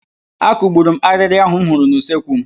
Akugburu m arịrị ahụ m hụrụ n'usekwu m.